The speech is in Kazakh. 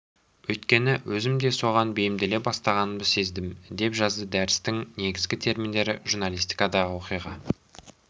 өйткені өзім де соған бейімделе бастағанымды сездім деп жазды дәрістің негізгі терминдері журналистикадағы оқиға